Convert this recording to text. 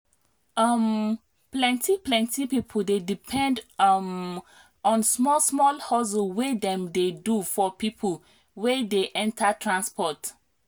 um plenti plenti people dey depend um on small small hustle wey dem dey do for people wey dey enter transport